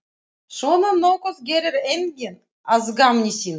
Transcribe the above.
Svona nokkuð gerir enginn að gamni sínu.